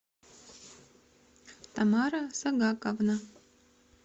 тамара сагаковна